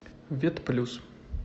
вет плюс